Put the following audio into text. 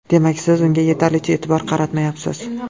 Demak, siz unga yetarlicha e’tibor qaratmayapsiz.